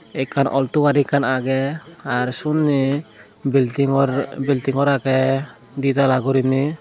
ekkan alto gari ekkan agey aro sunney building gor building gor agey ditala guriney.